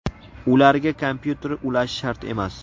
Ularga kompyuter ulash shart emas.